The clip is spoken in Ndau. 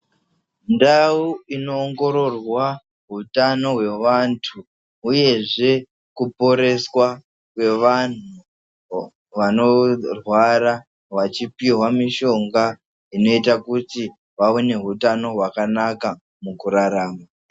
Ndau inoongororwa utano hweantu uyezve kuporeswa kwevanhu vanorwara vachipihwa mishonga inoita kuti vawe nehutano hwakanaka mukurarama.